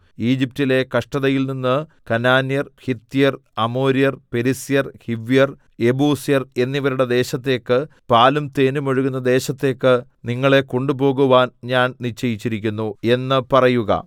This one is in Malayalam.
ഈജിപ്റ്റിലെ കഷ്ടതയിൽനിന്ന് കനാന്യർ ഹിത്യർ അമോര്യർ പെരിസ്യർ ഹിവ്യർ യെബൂസ്യർ എന്നിവരുടെ ദേശത്തേക്ക് പാലും തേനും ഒഴുകുന്ന ദേശത്തേക്ക് നിങ്ങളെ കൊണ്ടുപോകുവാൻ ഞാൻ നിശ്ചയിച്ചിരിക്കുന്നു എന്ന് പറയുക